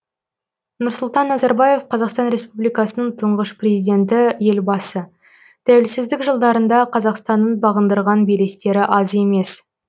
нұрсұлтан назарбаев қазақстан республикасының тұңғыш президенті елбасы тәуелсіздік жылдарында қазақстанның бағындырған белестері аз емес